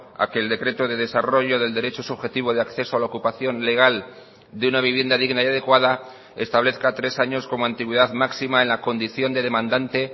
a que el decreto de desarrollo del derecho subjetivo de acceso a la ocupación legal de una vivienda digna y adecuada establezca tres años como antigüedad máxima en la condición de demandante